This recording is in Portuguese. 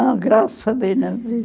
graças a Deus não vi.